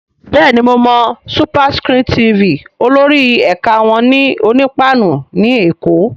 Bẹ́ẹ̀ni mo mọ SuperScreen TV, olórí ẹ̀ka wọn wà ní Onípáánù ní Èkó